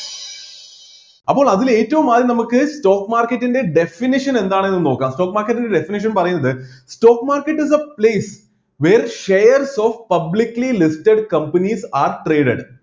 അപ്പോൾ അതിൽ ഏറ്റവും ആദ്യം നമുക്ക് stock market ൻ്റെ definition എന്താണെന്ന് നോക്കാം stock market ൻ്റെ definition പറയുന്നത് stock market the place where shares of publicly listed companies are traded